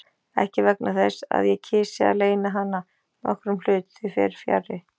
Ekki vegna þess, að ég kysi að leyna hana nokkrum hlut, því fer fjarri.